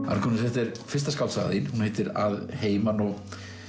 Arngunnur þetta er fyrsta skáldsagan þín hún heitir að heiman og